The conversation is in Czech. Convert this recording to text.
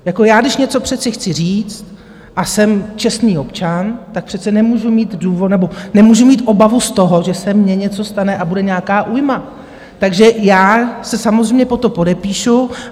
Jako já, když něco přece chci říct a jsem čestný občan, tak přece nemůžu mít obavu z toho, že se mně něco stane a bude nějaká újma, takže já se samozřejmě pod to podepíšu.